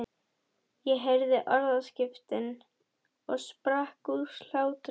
Ég heyrði orðaskiptin og sprakk úr hlátri.